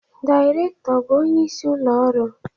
Dairekto bụ onye isi ulo ọrụ